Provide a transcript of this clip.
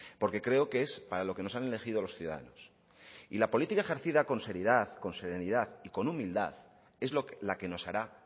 porque creo que es para lo que nos han elegido los ciudadanos y la política ejercida con seriedad con serenidad y con humildad es la que nos hará